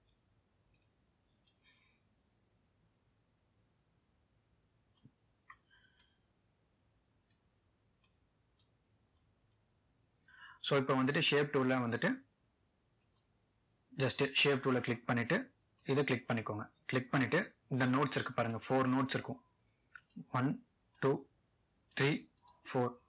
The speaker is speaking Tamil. so இப்போ வந்துட்டு shape tool லயும் வந்துட்டு just shape tool ல click பண்ணிட்டு இதை click பண்ணிக்கோங்க click பண்ணிட்டு இந்த notes இருக்கு பாருங்க four notes இருக்கும் one two three four